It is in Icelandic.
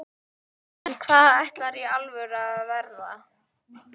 en hvað ætlarðu í alvörunni að verða?